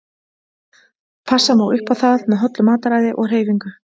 Passa má upp á það með hollu mataræði og hreyfingu.